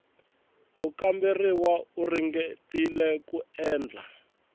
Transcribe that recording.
mukamberiwa u ringetile ku endla